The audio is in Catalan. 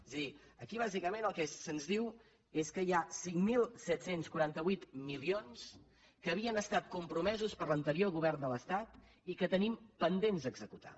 és a dir aquí bàsicament el que se’ns diu és que hi ha cinc mil set cents i quaranta vuit milions que havien estat compromesos per l’anterior govern de l’estat i que tenim pendents d’executar